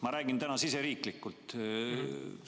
Ma räägin täna meie riiki silmas pidades.